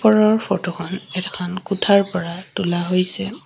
ওপৰৰ ফটোখন এখন কোঠাৰ পৰা তোলা হৈছে।